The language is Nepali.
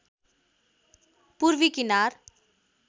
पूर्वी किनार